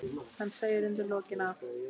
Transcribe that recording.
Hann segir undir lokin að